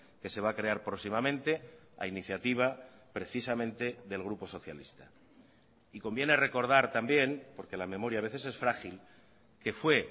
que se va a crear próximamente a iniciativa precisamente del grupo socialista y conviene recordar también porque la memoria a veces es frágil que fue